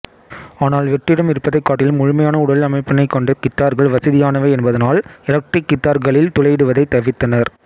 ஆனால் வெற்றிடம் இருப்பதைக் காட்டிலும் முழுமையான உடல் அமைப்பினை கொண்ட கித்தார்கள் வசதியானவை என்பதனால் எலக்ட்ரிக் கித்தார்களில் துளையிடுவதை தவிர்த்தனர்